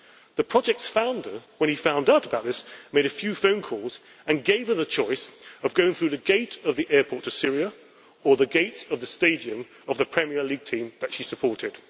The project's founder, when he found out about this, made a few phone calls and gave her the choice of going through the gate of the airport to Syria or the gates of the stadium of the Premier League team that she supported.